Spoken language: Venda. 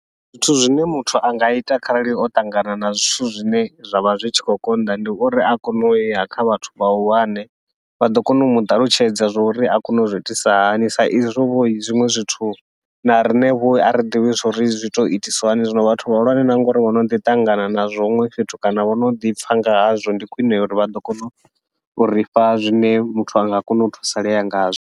Zwithu zwine muthu anga ita kharali o ṱangana na zwithu zwine zwa vha zwi tshi khou konḓa, ndi uri a kone uya kha vhathu vhahulwane vha ḓo kona u muṱalutshedza zwauri a kone u zwi itisa hani, sa izwo vho zwiṅwe zwithu na riṋe vho ari ḓivhi zwauri zwi tea itiswa hani. Zwino vhathu vhahulwane na ngauri vhono ḓi ṱangana nazwo huṅwe fhethu, kana vhono ḓipfha ngahazwo ndi khwiṋe uri vha ḓo kona uri fha zwine muthu anga kona u thusalea ngazwo.